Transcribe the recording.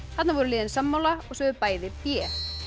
þarna voru liðin sammála og sögðu bæði b